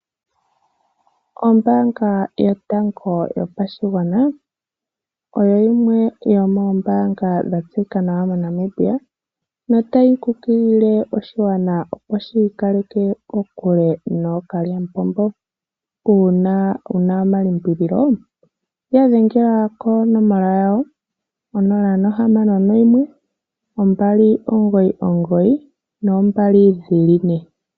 Ombaanga yotango yopashigwana oyo yimwe yomombanga dha tseyika nawa moNamibia na otayi kunkilile oshigwana opo shi ikaleke kokule nookalyampompo. Una wuna omalimbilolo ya dhengela konomoola yawo 0612992222.